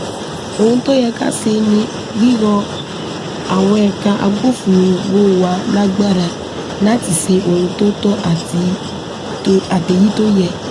ohun to yẹ ka se ni riro awọn ẹka agbofinro wa lagbara lati se ohun to tọ ati to ateyi to yẹ